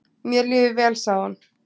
"""Mér líður vel, sagði hún."""